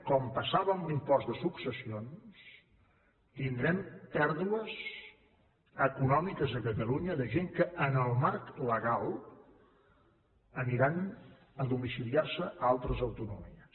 com passava amb l’impost de successions tindrem pèrdues econòmiques a catalunya de gent que en el marc legal aniran a domiciliar se a altres autonomies